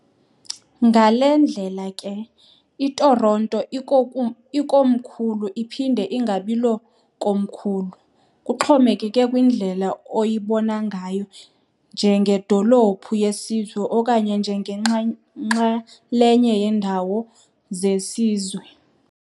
ngale ndlela ke, iToronto ilikomkhulu iphinde ingabilokomkhulu, kuxhomekeke kwindlela oyibona ngayo, njengedolophu yesizwe okanye njengenxalenye yeendawo zesizwe.